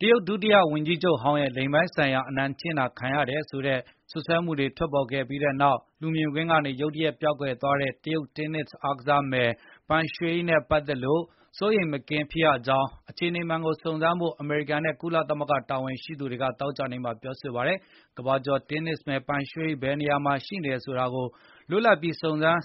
တရုတ် ဒုတိယဝန်ကြီးချုပ်ဟောင်းရဲ့ လိင်ပိုင်းဆိုင်ရာအနိုင်ကျင့်တာ ခံခဲ့ရတယ်ဆိုတဲ့ စွပ်စွဲချက်တွေထွက်ပေါ်ခဲ့ပြီးနောက် လူမြင်ကွင်းကနေ ရုတ်တရက်ပျောက်ကွယ်သွားတဲ့ တရုတ်တင်းနစ်အားကစားမယ် Peng Shuai နဲ့ ပတ်သက်လို့ စိုးရိမ်မကင်း ဖြစ်ရကြောင်းနဲ့ အခြေအနေမှန်ကို စုံစမ်းဖို့ အမေရိကန် နဲ့ ကုလသမဂ္ဂတာဝန်ရှိ သူတွေက သောကြာနေ့မှာ ပြောဆိုလိုက်ပါတယ်။ ကမ္ဘာကျော်တင်းနစ်မယ် Peng Shuai ဘယ်နေရာမှာရှိနေတယ်ဆိုတာကို လွတ်လပ်ပြီး၊ စုံစမ်းအ